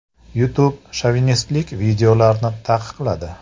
YouTube shovinistik videolarni taqiqladi.